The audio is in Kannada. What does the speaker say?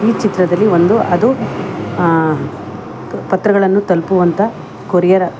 ಚಿತ್ರದಲ್ಲಿ ಒಂದು ಅದು ಪತ್ರಗಳನ್ನು ತಲುಪುವಂತ ಕೊರಿಯರ .